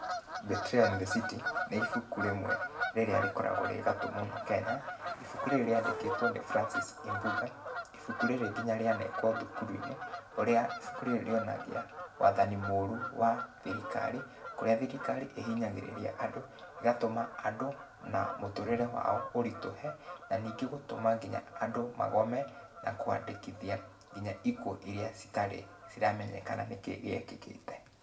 Betrayal In The City, nĩ ibuku rĩmwe, rĩrĩa rĩkoragũo rĩ gatũ mũno Kenya. Ibuku rĩrĩ rĩandĩkĩtũo nĩ Francis Imbuga. Ibuku rĩrĩ nginya rĩanekũo thukuru-inĩ. Ũrĩa ibuku rĩrĩ rĩonagia, wathani mũru wa thirikari, kũrĩa thirikari ĩhinyagĩrĩria andũ, ĩgatũma andũ na mũtũrĩre wao ũritũhe, na ningĩ gũtũma nginya andũ magome, na kũandĩkithia nginya ikuũ iria citarĩ ciramenyekana nĩkĩ gĩekĩkĩte.